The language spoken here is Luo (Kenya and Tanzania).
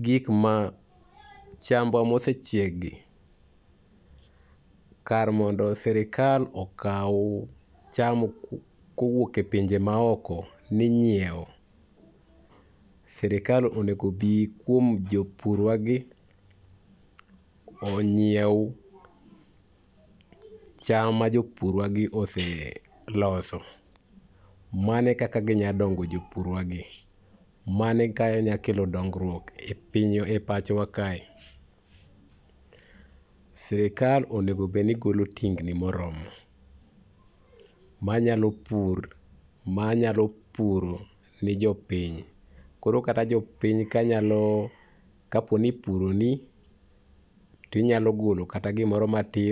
gik ma, chambwa mosechiekgi, kar mondo sirkal okaw cham kowuok e pinje maoko ni nyiewo, sirkal onego bi kuom jopurwagi, onyiew cham ma jopurwagi oseloso. Mano e kaka ginyalo dongo jopurwagi. Mano e ka inyalo kelo dongruok e pinywa, e pachowa kae. Sirkal onego bed ni golo tingni moromo, manyalo pur, manyalo puro ni jopiny. Koro kata jopiny kanyalo, kaponi ipuroni , tinyalo golo kata gimoro matin.